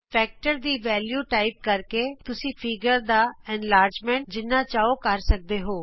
ਗੁਣਕ ਦੀ value type ਕਰਕੇ ਤੁਸੀਂ ਚਿੱਤਰ ਦਾ ਵਿਸਤਾਰ ਜਿੰਨਾ ਚਾਹੋ ਕਰ ਸਕਦੇ ਹੋ